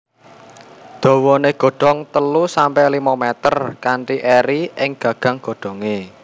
Dawané godong telu sampe limo mèter kanthi eri ing gagang godhongé